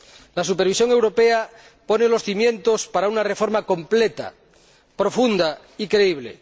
La supervisión europea pone los cimientos para una reforma completa, profunda y creíble.